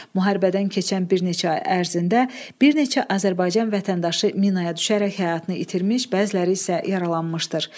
Müharibədən keçən bir neçə ay ərzində bir neçə Azərbaycan vətəndaşı minaya düşərək həyatını itirmiş, bəziləri isə yaralanmışdır.